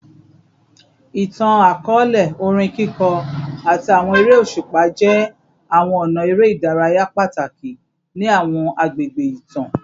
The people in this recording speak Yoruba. Itan-akọọlẹ, orin kiko, ati awọn ere oṣupa jẹ awọn ọna ere idaraya pataki ni awọn agbegbe itan